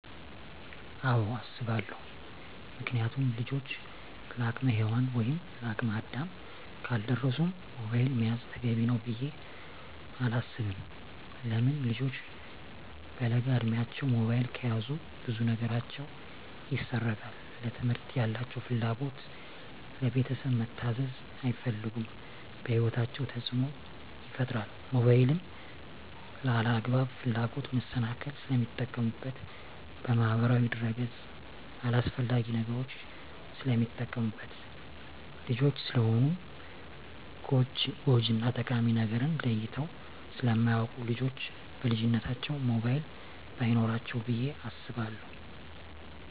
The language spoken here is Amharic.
አወ አሰባለው ምክንያቱም ልጆች ለአቅመ ሄዋን ወይም ለአቅመ አዳም ካልደረሱ ሞባይል መያዝ ተገቢ ነው ብዬ አላስብም። ለምን ልጆች በለጋ እድማቸው ሞባይል ከያዙ ብዙ ነገራቸው ይሰረቃል ለትምህርት ያላቸው ፍላጎት, ለቤተሰብ መታዘዝ አይፈልጉም በህይወታቸው ተፅዕኖ ይፈጥራል ሞባይልን ለአላግባብ ፍላጎት መሰናክል ስለሚጠቀሙበት በማህበራዊ ድረ-ገፅ አላስፈላጊ ነገሮች ስለሚጠቀሙበት። ልጆች ስለሆኑ ጎጅ እና ጠቃሚ ነገርን ለይተው ስለማያወቁ ልጆች በልጅነታቸው ሞባይል በይኖራቸው ብዬ አስባለሁ።